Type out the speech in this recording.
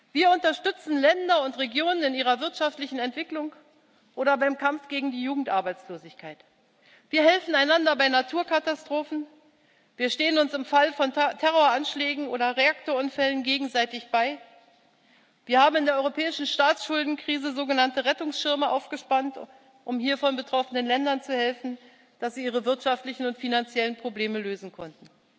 Wir unterstützen Länder und Regionen in ihrer wirtschaftlichen Entwicklung oder beim Kampf gegen die Jugendarbeitslosigkeit, wir helfen einander bei Naturkatastrophen, wir stehen uns im Fall von Terroranschlägen oder Reaktorunfällen gegenseitig bei, wir haben in der europäischen Staatsschuldenkrise sogenannte Rettungsschirme aufgespannt, um hiervon betroffenen Ländern zu helfen, dass sie ihre wirtschaftlichen und finanziellen Probleme lösen konnten.